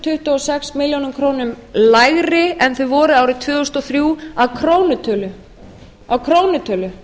tuttugu og sex milljónir króna lægri en þau voru árið tvö þúsund og þrjú að krónutölu